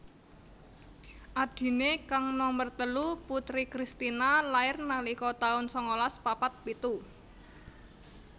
Adhiné kang nomer telu Putri Christina lair nalika taun sangalas papat pitu